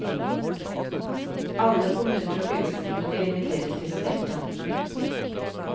Alle kommuner og fylkeskommuner inviteres til å delta.